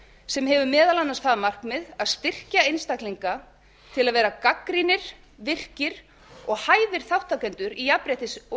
sem hefur meðal annars það markmið að styrkja einstaklinga til að vera gagnrýnir virkir og hæfir þátttakendur í jafnréttis og